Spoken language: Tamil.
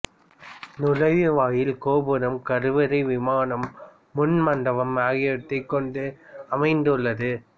நுழைவாயில் கோபுரம் கருவறை விமானம் முன் மண்டபம் ஆகியவற்றைக் கொண்டு அமைந்துள்ளது